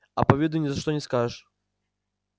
а по виду ни за что не скажешь